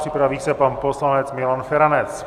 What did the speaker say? Připraví se pan poslanec Milan Feranec.